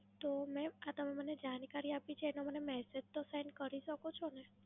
તો મેમ. તમે મને આ જાણકારી આપી છે એનો મને તો Send Message કરી શકો છો ને?